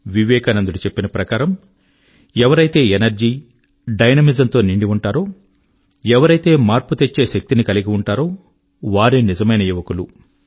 వివేకానందుడు చెప్పిన ప్రకారము ఎవరైతే ఎనర్జీ డైనమిజం తో నిండి ఉంటారో ఎవరైతే మార్పు తెచ్చే శక్తిని కలిగి ఉంటారో వారే నిజమైన యువకులు